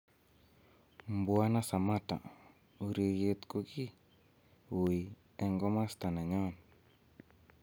Mbwana Sammatta, "Ureriet ko ki ui en komosto nenyon."